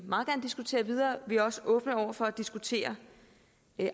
meget gerne diskutere videre vi er også åbne over for at diskutere